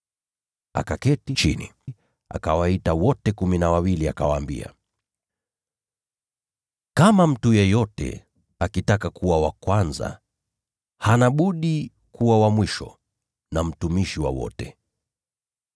Akaketi chini, akawaita wote kumi na wawili, akawaambia: “Kama mtu yeyote akitaka kuwa wa kwanza, hana budi kuwa wa mwisho na mtumishi wa wote.”